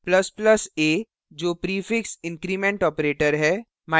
++ a जो prefix increment prefix increment operator है